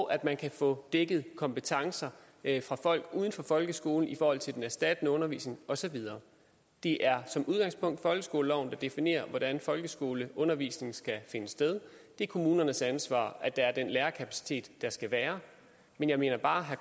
og at man kan få dækket kompetencer af folk uden for folkeskolen i forhold til den erstattende undervisning og så videre det er som udgangspunkt folkeskoleloven der definerer hvordan folkeskoleundervisningen skal finde sted det er kommunernes ansvar at der er den lærerkapacitet der skal være men jeg minder bare herre